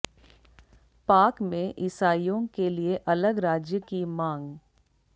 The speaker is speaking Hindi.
पाक में ईसाइयों के लिए अलग राज्य की मांग